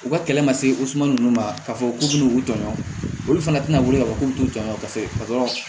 U ka kɛlɛ ma se o suma ninnu ma k'a fɔ k'u bɛ n'u jɔ olu fana tɛna wuli k'a fɔ k'u bɛ t'u jɔ paseke